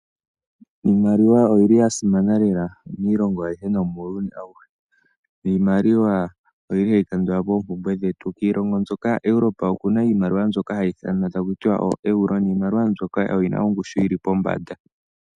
Iimaliwa oyili ya simana lela miilongo ayihe nomuuyuni awuhe, niimaliwa oyili hayi kandula po oompumbwe dhetu adhihe. Kiilongo mbyoka yaEurope okuna iimaliwa mbyoka hayi ithanwa taku tiwa oEuro niimaliwa mbyoka oyina ongushu yili pombanda.